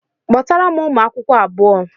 Kpọtara m ụmụakwụkwọ abuo!